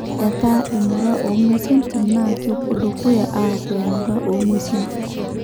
'Etaa emurua o ngwesi entim naa kepwo dukuya aku emurua o ngwesi entim.